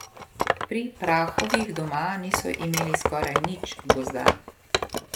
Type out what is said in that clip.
Pri Prahovih doma niso imeli skoraj nič gozda.